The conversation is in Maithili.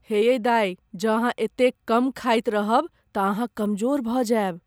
हे यै दाइ, जँ अहाँ एते कम खाइत रहब तँ अहाँ कमजोर भऽ जायब।